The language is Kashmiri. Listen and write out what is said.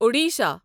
اوڈیشہ